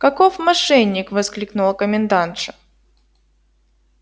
каков мошенник воскликнула комендантша